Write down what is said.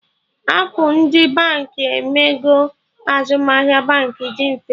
Appụ ndị Baankị emego azụmahịa Baankị dị mfe